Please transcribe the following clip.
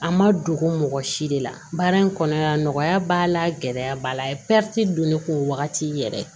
A ma dogo mɔgɔ si de la baara in kɔnɔna nɔgɔya b'a la gɛlɛya b'a la a ye don ne kun wagati yɛrɛ